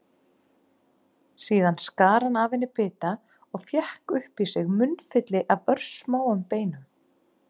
Síðan skar hann af henni bita og fékk upp í sig munnfylli af örsmáum beinum.